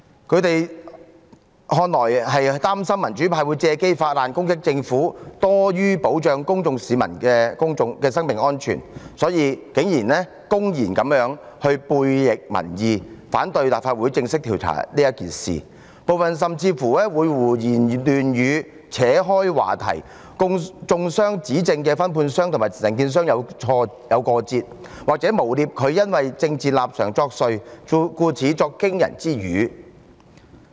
他們似乎是擔心民主派會藉機發難攻擊政府多於保障市民生命安全，因此竟然公然悖逆民意，反對立法會正式調查此事，部分議員甚至胡言亂語，轉移話題，中傷站出來揭發問題的分判商，指稱他和承建商有過節，又或誣衊他因政治立場作祟，才會語出驚人。